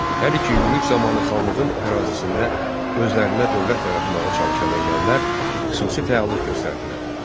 Hər iki yürüş zamanı xanlığın ərazisində özlərinə dövlət yaratmağa çalışan ermənilər xüsusi fəallıq göstərdilər.